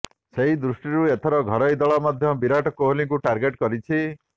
ସେହି ଦୃଷ୍ଟିରୁ ଏଥର ଘରୋଇ ଦଳ ମଧ୍ୟ ବିରାଟ କୋହଲିଙ୍କୁ ଟାର୍ଗେଟ୍ କରିଛି